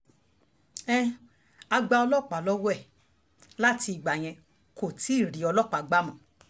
um a gba ọlọ́pàá lọ́wọ́ um ẹ̀ láti ìgbà yẹn ni kò ti rí ọlọ́pàá gbà mọ́